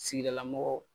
Sigidala mɔgɔw